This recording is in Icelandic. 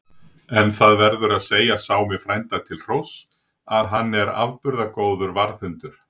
En það verður að segja Sámi frænda til hróss, að hann er afburða góður varðhundur.